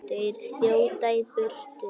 Þeir þjóta í burtu.